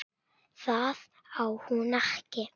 Það á hún ekki.